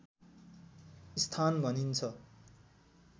स्थान भनिन्छ